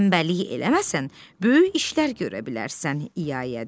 Tənbəllik eləməsən böyük işlər görə bilərsən, İyayaya dedi.